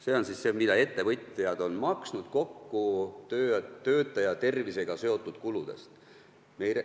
See on see raha, mida ettevõtjad kokku maksid töötajate tervisega seotud kulude pealt.